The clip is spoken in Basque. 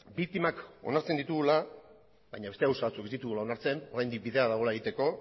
biktimak onartzen ditugula baina beste gauza batzuk ez ditugula onartzen oraindik bidea dagoela egiteko